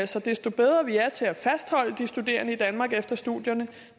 så desto bedre vi er til at fastholde de studerende i danmark efter studierne